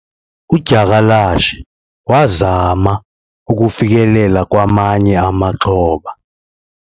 udyakalashe wazama ukufikelela kwamanye amaxhoba